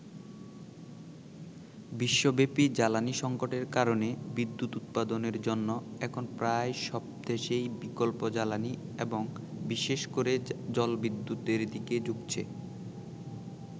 বিশ্বব্যপী জ্বালানি সংকটের কারণে বিদ্যুৎ উৎপাদনের জন্য এখন প্রায় সব দেশই বিকল্প জ্বালানি এবং বিশেষ করে জলবিদ্যুতের দিকে ঝুঁকছে।